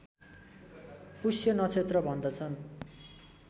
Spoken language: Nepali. पुष्य नक्षत्र भन्दछन्